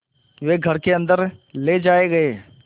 वे घर के अन्दर ले जाए गए